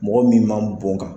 Mɔgɔ min man bɔn ka